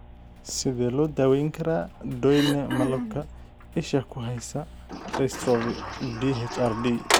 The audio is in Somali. Sidee loo daweyn karaa Doyne malabka isha ku haysa dystrophy (DHRD)?